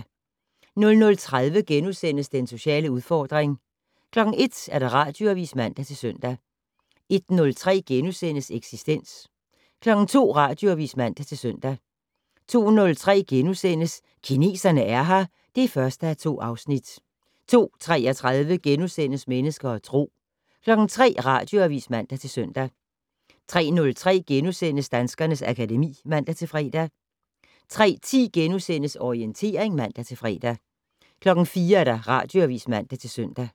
00:30: Den sociale udfordring * 01:00: Radioavis (man-søn) 01:03: Eksistens * 02:00: Radioavis (man-søn) 02:03: Kineserne er her (1:2)* 02:33: Mennesker og Tro * 03:00: Radioavis (man-søn) 03:03: Danskernes akademi *(man-fre) 03:10: Orientering *(man-fre) 04:00: Radioavis (man-søn)